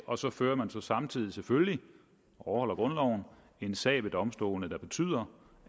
og så fører man samtidig selvfølgelig vi overholder grundloven en sag ved domstolene der betyder